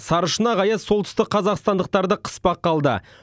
сарышұнақ аяз солтүстікқазақстандықтарды қыспаққа алды